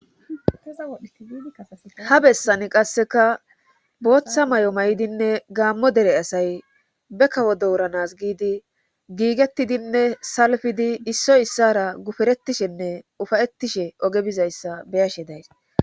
Aha bessani qasseka booththa may"o may"dinne gaammo dere asay be kawo dooranas giidi giigettidinne salfidi issoy issara guferetishenne ufayettishe oge bizayssa beyashe days